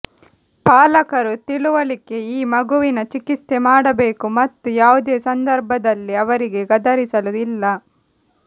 ಪಾಲಕರು ತಿಳುವಳಿಕೆ ಈ ಮಗುವಿನ ಚಿಕಿತ್ಸೆ ಮಾಡಬೇಕು ಮತ್ತು ಯಾವುದೇ ಸಂದರ್ಭದಲ್ಲಿ ಅವರಿಗೆ ಗದರಿಸಲು ಇಲ್ಲ